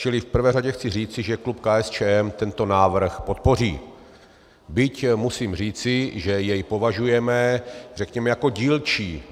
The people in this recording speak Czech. Čili v prvé řadě chci říci, že klub KSČM tento návrh podpoří, byť musím říci, že jej považujeme, řekněme, jako dílčí.